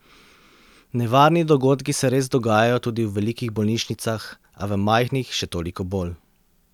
Nevarni dogodki se res dogajajo tudi v velikih bolnišnicah, a v majhnih še toliko bolj.